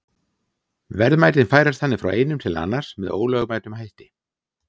Verðmætin færast þannig frá einum til annars með ólögmætum hætti.